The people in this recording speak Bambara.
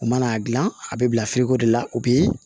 U mana dilan a bɛ bila de la u bɛ